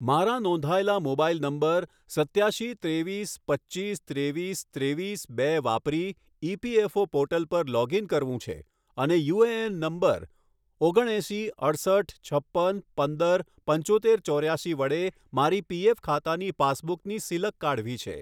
મારા નોંધાયેલા mobile number સત્યાશી ત્રેવીસ પચ્ચીસ ત્રેવીસ ત્રેવીસ બે વાપરી ઇપીએફઓ પોર્ટલ પર લોગઇન કરવું છે અને યુએએન નંબર ઓગણએંસી અડસઠ છપ્પન પંદર પંચોતેર ચોર્યાશી વડે મારી પી. ઍફ ખાતાની પાસબુકની સિલક કાઢવી છે